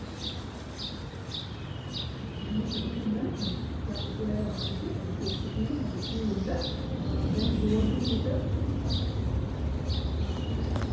ammeter ൻ്റെ symbol ah capital A ആരിക്കും ഒരു positive ഉം negative ഉം ഒണ്ട്. Ah Then voltmeter